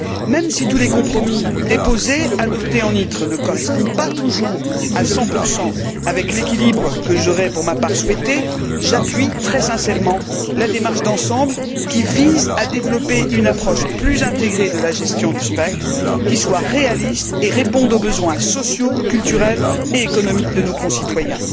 Même si tous les compromis déposés, adoptés en commission ITRE, ne correspondent pas toujours à 100 à l'équilibre que j'aurais, pour ma part, souhaité, j'appuie très sincèrement la démarche d'ensemble qui vise à développer une approche plus intégrée de la gestion du spectre, qui soit réaliste et réponde aux besoins sociaux, culturels et économiques de nos concitoyens.